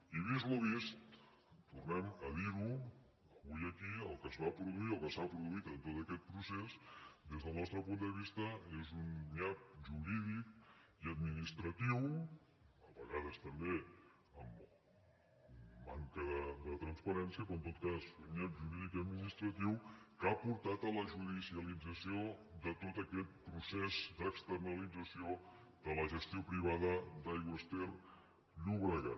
i vist el vist tornem a dir ho avui aquí el que es va produir i el que s’ha produït en tot aquest procés des del nostre punt de vista és un nyap jurídic i administratiu a vegades també amb manca de transparència però en tot cas un nyap jurídic i administratiu que ha portat a la judicialització de tot aquest procés d’externalització de la gestió privada d’aigües ter llobregat